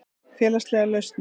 Félagslegar lausnir